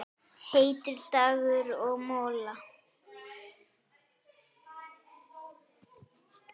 Heitur dagur og molla.